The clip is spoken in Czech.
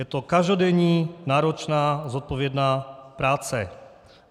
Je to každodenní náročná zodpovědná práce.